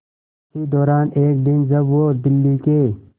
इसी दौरान एक दिन जब वो दिल्ली के